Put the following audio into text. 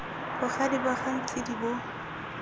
bogadi ba ga ntshidi bo